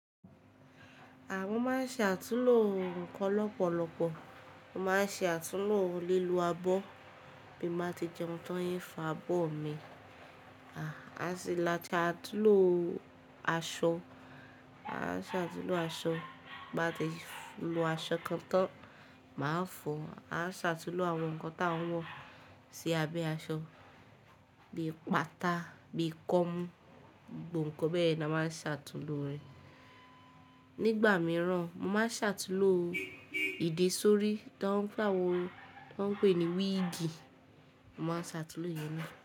Ha mo ma n ṣe atunlo ǹkan lọ́pọ̀lọ́pọ̀. Mo máa ṣàtúnlo lílo abọ́ bí mo bá ti jẹun tan ń fọ abọ́ mi. Ati àtúnlo aṣọ. A ṣàtúnlo aṣọ bí mo bá ti lo aṣọ kan tán, màá fọ̀ ọ́. A ṣàtúnlo àwọn ǹkan tí a ń wọ̀ sí abẹ́ aṣọ bíi pátá, bíi kọ́mú, gbogbo ǹkan bẹ́ẹ̀ ni a máa ń ṣàtúnlo rẹ̀. Nígbà mìíràn, mo máa ṣàtúnlo ìdè sórí tó ń pè ní wíìgì, màá ṣàtúnlo ìyẹn ni.